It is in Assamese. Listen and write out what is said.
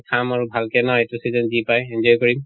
খাম আৰু ভাল কে ন এইটো season যি পায় enjoy কৰিম